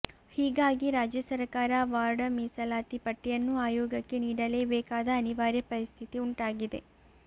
ಹೀಗಾಗಿ ರಾಜ್ಯ ಸರಕಾರ ವಾರ್ಡ ಮೀಸಲಾತಿ ಪಟ್ಟಿಯನ್ನು ಆಯೋಗಕ್ಕೆ ನೀಡಲೇ ಬೇಕಾದ ಅನಿವಾರ್ಯ ಪರಿಸ್ಥಿತಿ ಉಂಟಾಗಿದೆ